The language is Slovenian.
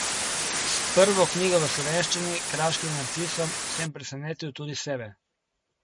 S prvo knjigo v slovenščini, Kraškim narcisom, sem presenetil tudi sebe.